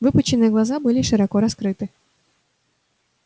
выпученные глаза были широко раскрыты